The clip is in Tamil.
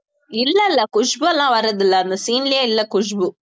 இல்ல இல்ல குஷ்பூ எல்லாம் வர்றதில்லை அந்த scene லயே இல்லை குஷ்பூ